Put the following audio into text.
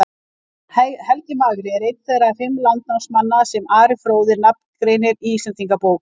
Helgi magri er einn þeirra fimm landnámsmanna sem Ari fróði nafngreinir í Íslendingabók.